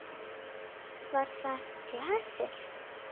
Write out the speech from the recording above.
Var það glasið?